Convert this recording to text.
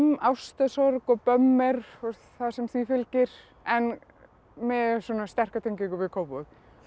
ástarsorg og bömmer og það sem því fylgir en með sterka tengingu við Kópavog